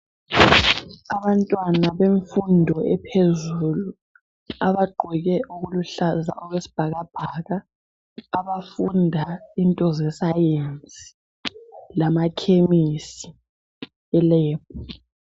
Abantwana bemfundo ephezulu abagqoke okuluhlaza okwesibhakabhaka abafunda into zescience lamakhemisi elab.